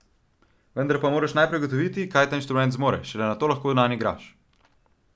Vendar pa moraš najprej ugotoviti, kaj ta inštrument zmore, šele nato lahko nanj igraš.